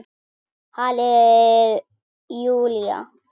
Halli Júlía!